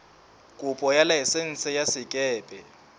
kopo ya laesense ya sekepe